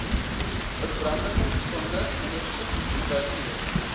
verbrandingsoonde ondersoek evalueer